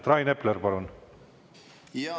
Rain Epler, palun!